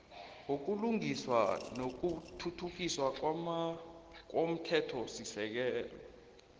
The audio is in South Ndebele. wobulungiswa nokuthuthukiswa komthethosisekelo